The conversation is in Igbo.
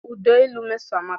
Ụda olu Mmeso amaka.